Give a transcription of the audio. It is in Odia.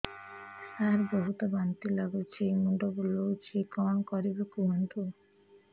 ସାର ବହୁତ ବାନ୍ତି ଲାଗୁଛି ମୁଣ୍ଡ ବୁଲୋଉଛି କଣ କରିବି କୁହନ୍ତୁ